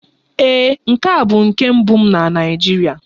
Ee, nke a bụ nke mbụ m na Naịjirịa.